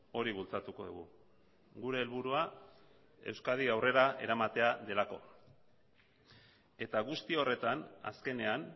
hori bultzatuko dugu gure helburua euskadi aurrera eramatea delako eta guzti horretan azkenean